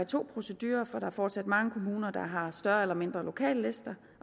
to procedurer for er fortsat mange kommuner der har større eller mindre lokallister